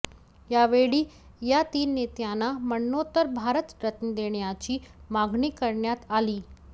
यावेळी या तीन नेत्यांना मरणोत्तर भारतरत्न देण्याची मागणी करण्यात आली